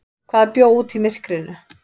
Hvað bjó úti í myrkrinu?